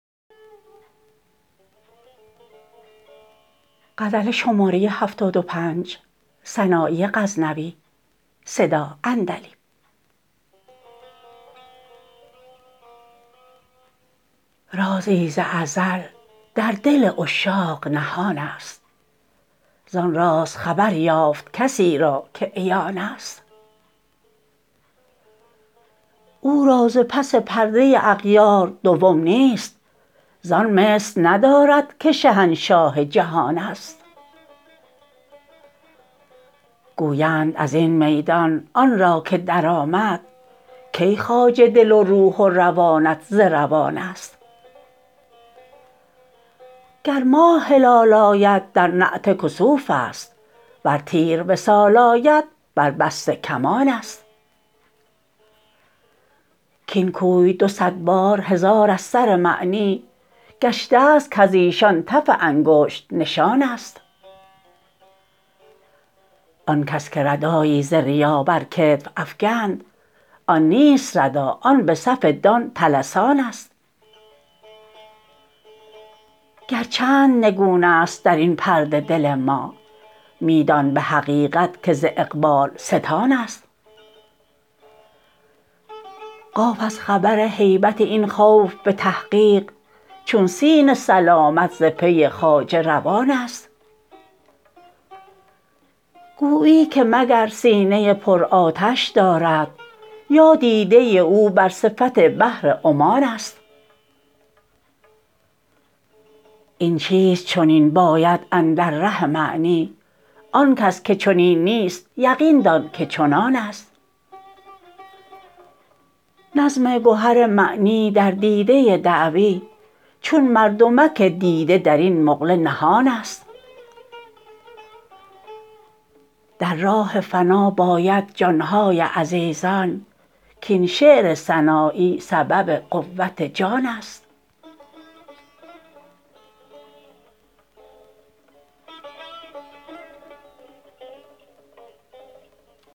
رازی ز ازل در دل عشاق نهانست زان راز خبر یافت کسی را که عیانست او را ز پس پرده اغیار دوم نیست زان مثل ندارد که شهنشاه جهانست گویند ازین میدان آن را که درآمد کی خواجه دل و روح و روانت ز روانست گر ماه هلال آید در نعت کسوفست ور تیر وصال آید بر بسته کمانست کاین کوی دو صد بار هزار از سر معنی گشتست کز ایشان تف انگشت نشانست آنکس که ردایی ز ریا بر کتف افگند آن نیست ردا آن به صف دان طلسانست گر چند نگونست درین پرده دل ما میدان به حقیقت که ز اقبال ستانست قاف از خبر هیبت این خوف به تحقیق چون سین سلامت ز پی خواجه روانست گویی که مگر سینه پر آتش دارد یا دیده او بر صفت بحر عمانست این چیست چنین باید اندر ره معنی آن کس که چنین نیست یقین دان که چنانست نظم گهر معنی در دیده دعوی چون مردمک دیده درین مقله نهانست در راه فنا باید جانهای عزیزان کاین شعر سنایی سبب قوت جانست